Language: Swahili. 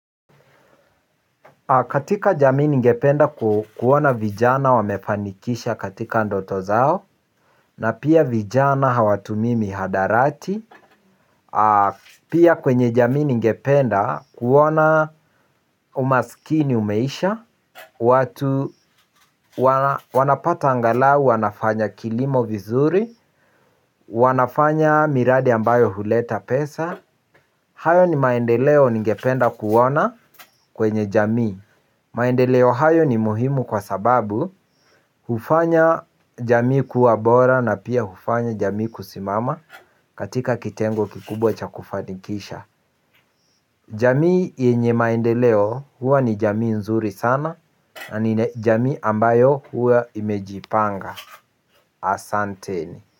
Katika jamii ningependa kuona vijana wamefanikisha katika ndoto zao, na pia vijana hawatumii mihadarati, pia kwenye jamii ningependa kuona umasikini umeisha, wanapata angalau, wanafanya kilimo vizuri, wanafanya miradi ambayo huleta pesa. Hayo ni maendeleo ningependa kuona kwenye jamii. Maendeleo hayo ni muhimu kwa sababu hufanya jamii kuwa bora na pia hufanya jamii kusimama. Katika kitengo kikubwa cha kufanikisha jamii yenye maendeleo huwa ni jamii nzuri sana. Na ni jamii ambayo huwa imejipanga. Asanteni.